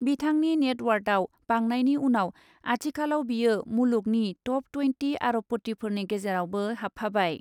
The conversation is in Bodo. बिथांनि नेटवार्थआव बांनायनि उनाव आथिखालाव बियो मुलुगनि टप ट्वेन्टि आरबपतिफोरनि गेजेरावबो हाबफाबाय ।